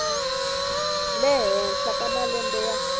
le henhla ka malembe ya